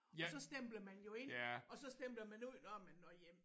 Og så stempler man jo ind og så stempler man ud når man når hjem